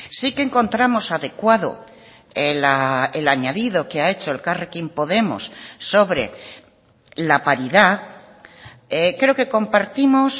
sí que encontramos adecuado el añadido que ha hecho elkarrekin podemos sobre la paridad creo que compartimos